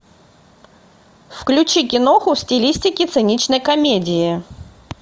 включи киноху в стилистике циничной комедии